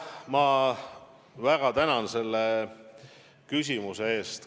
Ma väga tänan selle küsimuse eest!